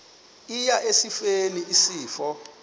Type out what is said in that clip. eya esifeni isifo